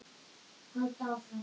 Halda áfram.